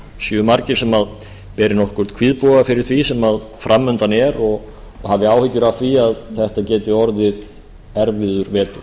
séu margir sem beri nokkurn kvíðboga fyrir því sem framundan er og hafi áhyggjur af því að þetta geti orðið erfiður vetur